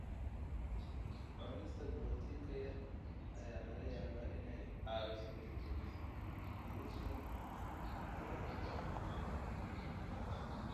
Cunista borotiinka yar ayaa laga yaabaa inay caawiso dib u dhigista u gudubka kelyaha.